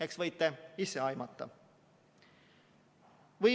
Eks võite ise aimata.